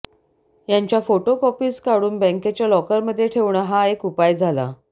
यांच्या photo copies काढून बँकेच्या लॉकरमध्ये ठेवणं हा एक उपाय झाला